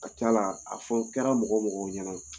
A ka c'a la a fɔ kɛra mɔgɔ mɔgɔ ɲɛna